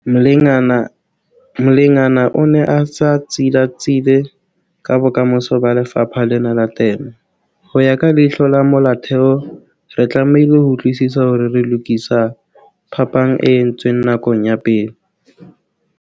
Mlengana o ne a sa tsilatsile ka bokamoso ba lefapha lena la temo- 'Ho ya ka leihlo la molaotheo re tlamehile ho utlwisisa hore re lokisa phapang e entsweng nakong ya pele'.